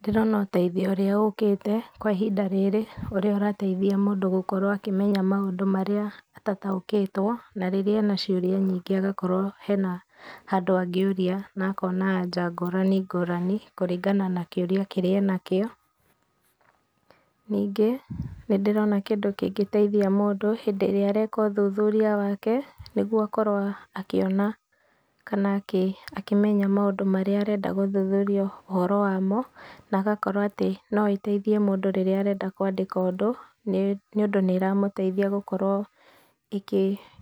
Ndĩrona ũteithio ũrĩa ũkĩte kwa ihinda rĩri ũrĩa ũrateithia mũndũ gũkorwo akĩmenya maũndũ marĩa atataũkĩtwo na rĩrĩa ena ciũria nyingĩ agakorwo hena handũ angĩũria na akona anja ngũrani ngũrani kũringana na kĩũria kĩrĩa ena kĩo. Ningĩ nĩndĩrona kĩndũ kĩngĩtheithia mũndũ hĩndĩ ĩrĩa areka ũthuthuria wake nĩgũo akorwo akĩona kana akĩmenya maũndũ marĩa arenda gũthuthuria ũhoro wamo na agakorwo atĩ no ĩteithĩe mũndũ rĩrĩa arenda kũandĩka ũndũ nĩũndũ nĩ ĩramũteithia gũkorwo